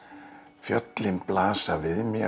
fjöllin blasa við mér